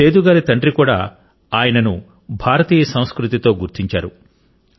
సేదు గారి తండ్రి కూడా ఆయనను భారతీయ సంస్కృతితో గుర్తించారు